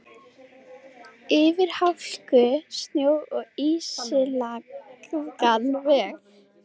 Hún hefur alltaf þráð að eignast tjald.